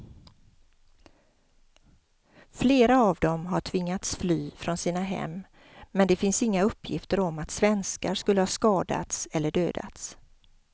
Flera av dem har tvingats fly från sina hem men det finns inga uppgifter om att svenskar skulle ha skadats eller dödats.